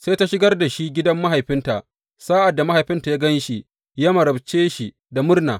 Sai ta shigar da shi gidan mahaifinta, sa’ad da mahaifinta ya gan shi, ya marabce shi da murna.